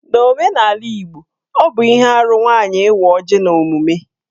N'omenala Igbo, ọ bụ ihe arụ nwaanyị ị́wá ọ́jị̀ n'emume.